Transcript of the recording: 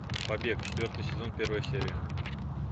побег четвертый сезон первая серия